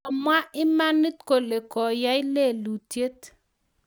komwa imanit kole koyai lelutyet